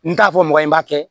N t'a fɔ mɔgɔ ye n b'a kɛ